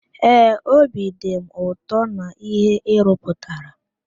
Ee, obi dị m ụtọ na íhé ị rụputara.